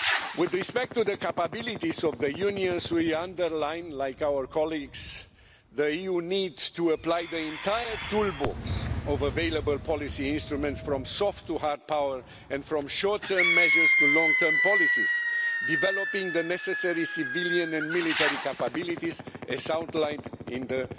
With respect to the capabilities of the Union, we underline like our colleagues that the EU needs to apply the entire toolbox of available policy instruments from soft to hard power and from short term measures to long-term policies, developing the necessary civilian and military capabilities as outlined in the